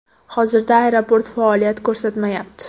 Hozirda aeroport faoliyat ko‘rsatmayapti.